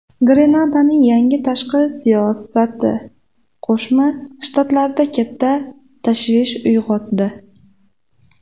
Grenadaning yangi tashqi siyosati Qo‘shma Shtatlarda katta tashvish uyg‘otdi.